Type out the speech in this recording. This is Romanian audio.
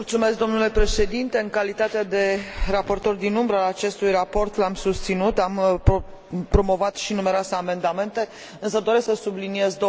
În calitate de raportor din umbră al acestui raport, l am susținut, am promovat și numeroase amendamente, însă doresc să subliniez două lucruri.